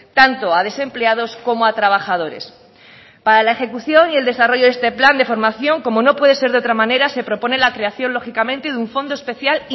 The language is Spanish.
tanto a desempleados como a trabajadores para la ejecución y el desarrollo de este plan de formación como no puede ser de otra manera se propone la creación lógicamente de un fondo especial